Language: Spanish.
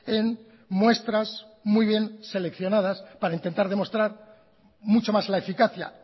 en muestras muy bien seleccionadas para intentar demostrar mucho más la eficacia